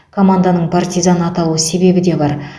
команданың партизан аталу себебі де бар